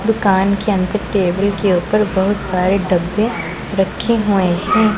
दुकान के अंदर टेबल के ऊपर बहुत सारे डब्बे रखे हुए हैं।